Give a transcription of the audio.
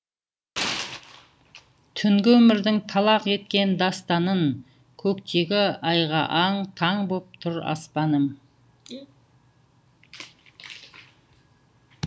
түнгі өмірдің талақ еткен дастанын көктегі айға аң таң боп тұр аспаным